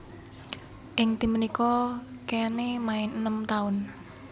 Ing tim punika Keane main enem taun